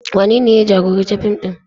Wanene ya jagoranci fim ɗin?